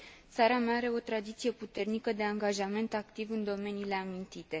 Țara mea are o tradiție puternică de angajament activ în domeniile amintite.